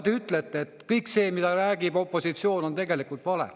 Te ju ütlete, et kõik see, mida räägib opositsioon, on tegelikult vale.